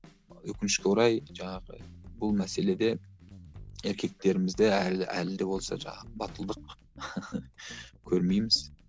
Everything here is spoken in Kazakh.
өкінішке орай жаңағы бұл мәселеде еркектерімізде әлі әлі де болса жаңағы батылдық көрмейміз